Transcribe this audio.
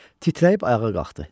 Titrəyib ayağa qalxdı.